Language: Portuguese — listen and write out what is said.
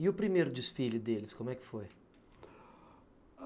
E o primeiro desfile deles, como é que foi?